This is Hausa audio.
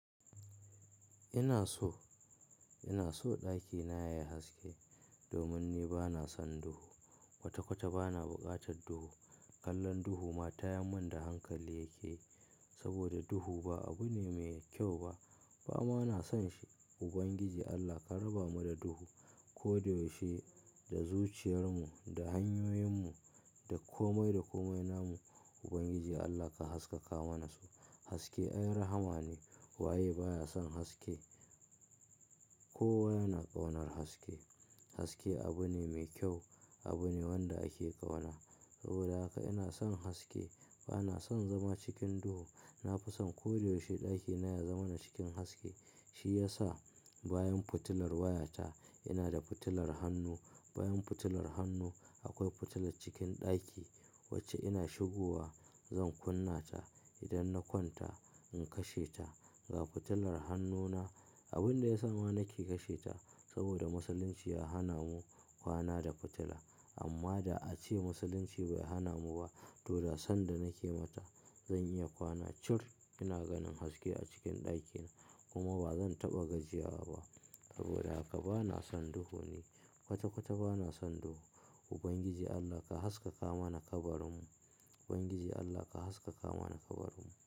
Ina so, ina so ɗakina yayi haske domin ni bana son duhu. Kwata-kwata bana buƙatar duhu. Kallon duhu ma tayan mun da hankali yake saboda duhu ba abu ne mai kyau ba, ba ma na son shi. Ubangiji Allah ka raba mu da duhu. Ko da yaushe da zuciyarmu, da hanyoyinmu, da komai da komai namu. Ubangiji Allah ka haskaka mana su. Haske ai rahama ne. Wa ye baya son haske? Kowa yana ƙaunar haske. Haske abu ne mai kyau, abu ne wanda ake ƙauna. Saboda haka ina son haske. Bana son zama cikin duhu. Nafison ko da yaushe ɗakina ya zama na cikin haske. Shi yasa bayan fitilar wayata ina da fitilar hannu. Bayan fitilar hannu akwai fitilar cikin ɗaki wacce ina shigowa zan kunna ta. Idan na kwanta in kashe ta. Ga fitilar hannuna abin da ya sa ma nake kashe ta saboda Musulunci ya hana mu kwana da fitila. Amma da a ce Musulunci bai hana mu ba, to da sanda nake mata zan iya kwana. Chur! Ina ganin haske a cikin ɗakina. Kuma ba zan taɓa gajiyawa ba. Saboda haka bana son duhu ne. Wata-wata bana son duhu. Ubangiji Allah ka haskaka mana kabarinmu. Ubangiji Allah ka haskaka mana kabarinmu.